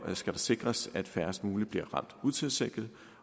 skal det sikres at færrest muligt bliver ramt utilsigtet